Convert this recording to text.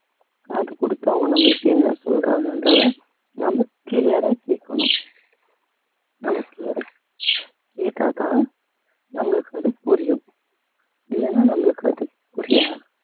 காது கொடுத்து அவங்க நம்மளுக்கு என்ன சொல்றாங்கன்றதை நம்ம clear ஆ கேட்கணும் நமக்கு வேற கேட்டதான் நம்மளுக்கு அது புரியும் இல்லைன்னா நம்மளுக்கு அது புரியாது